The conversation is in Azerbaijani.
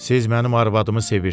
Siz mənim arvadımı sevirsiz.